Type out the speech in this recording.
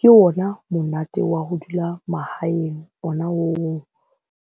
Ke ona monate wa ho dula mahaeng ona oo.